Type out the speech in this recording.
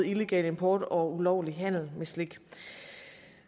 illegal import af og ulovlig handel med slik